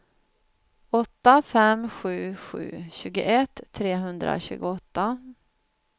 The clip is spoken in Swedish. åtta fem sju sju tjugoett trehundratjugoåtta